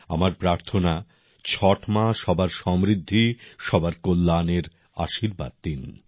আমার প্রার্থনা ছট মা সবার সমৃদ্ধি সবার কল্যাণের আশীর্বাদ দিন